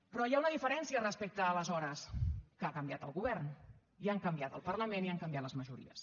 però hi ha una diferència respecte a aleshores que ha canviat el govern i ha canviat el parlament i han canviat les majories